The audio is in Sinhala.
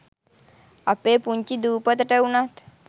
අපේ පුංචි දූපතට උනත්